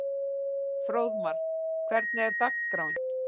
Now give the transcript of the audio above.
Fróðmar, hvernig er dagskráin?